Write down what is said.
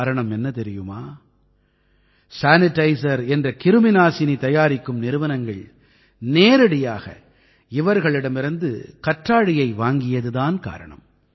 காரணம் என்ன தெரியுமா சானிடைசர் என்ற கிருமிநாசினி தயாரிக்கும் நிறுவனங்கள் நேரடியாக இவர்களிடமிருந்து கற்றாழையை வாங்கியது தான் காரணம்